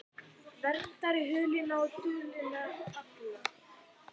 Það á þó alls ekki við um alla einstaklinga tegundarinnar.